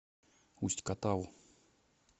усть катаву